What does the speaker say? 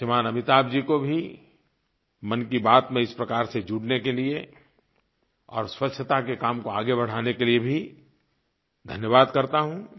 श्रीमान अमिताभ जी को भी मन की बात में इस प्रकार से जुड़ने के लिये और स्वच्छता के काम को आगे बढ़ाने के लिये भी धन्यवाद करता हूँ